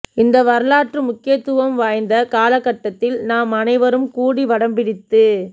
இந்த வரலாற்று முக்கியத்துவம் வாய்ந்த காலகட்டத்தில் நாம் அனைவரும் கூடி வடம்பிடித்து